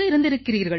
இருந்திருக்கிறீர்கள்